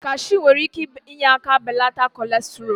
Cashu nwere ike inye aka belata kolestrool.